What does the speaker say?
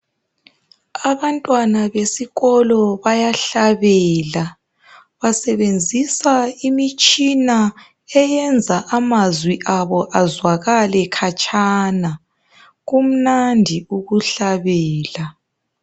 Abantwana besikolo bayahlabela. Basebenzisa imitshina eyenza amazwi abo azwakale khatshana. Kumnandi ukuhlabela.